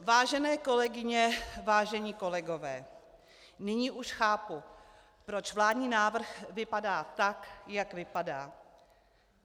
Vážené kolegyně, vážení kolegové, nyní už chápu, proč vládní návrh vypadá tak, jak vypadá.